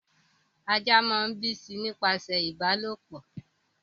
Ajá máa ń bíi sí i nípasẹ̀ ìbálòpọ̀